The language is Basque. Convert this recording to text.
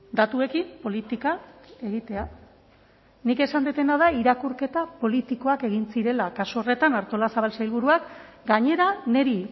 datuekin politika egitea nik esan dudana da irakurketa politikoak egin zirela kasu horretan artolazabal sailburuak gainera niri